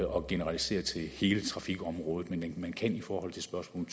og generalisere til hele trafikområdet men man kan i forhold til spørgsmål